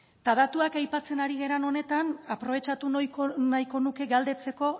eta datuak aipatzen ari garen honetan aprobetxatu nahiko nuke galdetzeko